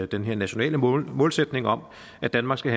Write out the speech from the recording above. den her nationale målsætning om at danmark skal